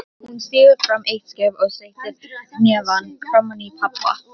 Hún stígur fram eitt skref og steytir hnefann framaní pabba